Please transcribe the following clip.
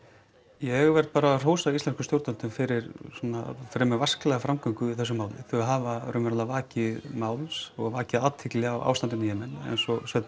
ég verð bara að hrósa íslenskum stjórnvöldum fyrir svona fremur vasklega framgöngu í þessu máli þau hafa raunverulega vakið máls og vakið athygli á ástandinu í Jemen eins og Sveinn